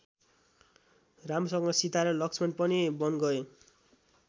रामसँग सीता र लक्ष्मण पनि वन गए।